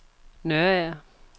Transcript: Nørager